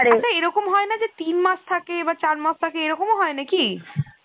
আচ্ছা এরকম হয় না তিন মাস থাকে বা চার মাস থাকে এরকম ও হয় নাকি?